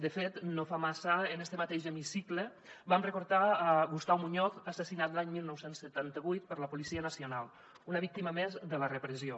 de fet no fa massa en este mateix hemicicle vam recordar gustau muñoz assassinat l’any dinou setanta vuit per la policia nacional una víctima més de la repressió